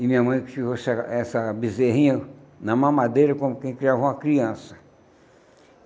e minha mãe essa essa bezerrinha na mamadeira, como quem criava uma criança.